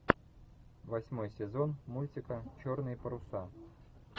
восьмой сезон мультика черные паруса